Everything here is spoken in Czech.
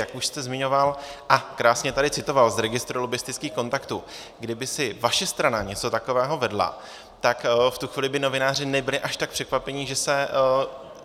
Jak už jste zmiňoval a krásně tady citoval z registru lobbistických kontaktů - kdyby si vaše strana něco takového vedla, tak v tu chvíli by novináři nebyli až tak překvapení, že